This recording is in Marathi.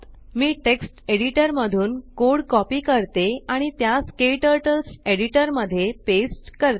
मी टेक्स्ट एडिटर मधून कोड कॉपी करते आणि त्यास क्टर्टल्स एडिटर मध्ये पेस्ट करते